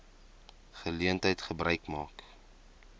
geleentheid gebruik maak